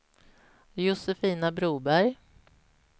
Josefina Broberg